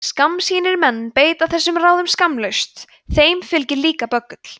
skammsýnir menn beita þessum ráðum skammlaust og þeim fylgir líka böggull